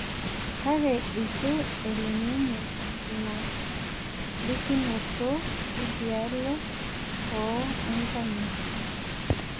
Kake eitu elo ninye ina likinoto edialo oo enkanyit